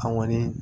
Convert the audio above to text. An kɔni